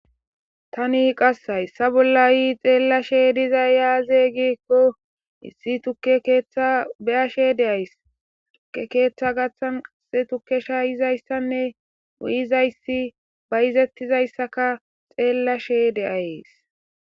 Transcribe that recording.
Taani qas hayssa bolla hay xeelashe dizayssi aazee giikko issi tukke keeththa be7ashshe de7ays. Tukke keeththa gaaththan asi tukke shaayizayssanne uyizayssi bayzethizayssakka xeelashe d7ays.